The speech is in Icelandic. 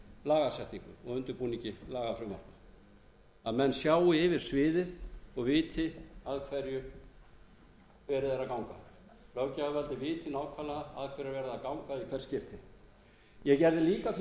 lagasetningu og undirbúningi undir lagafrumvarpið að menn sjái yfir sviðið og viti að hverju verið er að ganga löggjafarvaldið viti nákvæmlega að hverju er verið að ganga í hvert skipti ég gerði líka fyrirvara um það